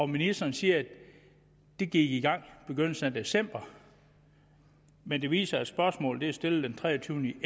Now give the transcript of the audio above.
ministeren siger at de gik i gang i begyndelsen af december men det viser sig at spørgsmålet er stillet den treogtyvende